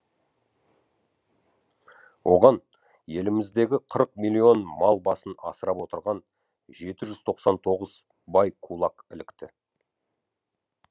оған еліміздегі қырық миллион мал басын асырап отырған жеті жүз тоқсан тоғыз бай кулак ілікті